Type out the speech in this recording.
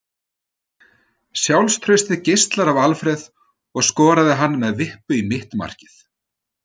Sjálfstraustið geislar af Alfreð og skoraði hann með vippu í mitt markið.